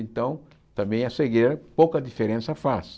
Então, também a cegueira, pouca diferença faz.